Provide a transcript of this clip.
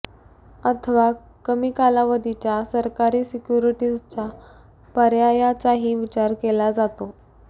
अथवा कमी कालावधीच्या सरकारी सिक्युरिटीजच्या पर्यायाचाही विचार केला जातो